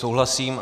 Souhlasím.